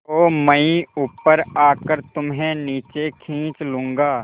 तो मैं ऊपर आकर तुम्हें नीचे खींच लूँगा